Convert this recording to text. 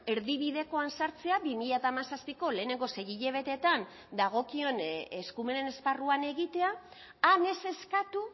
erdibidekoan sartzea bi mila hamazazpiko lehenengo sei hilabetetan dagokion eskumenen esparruan egitea han ez eskatu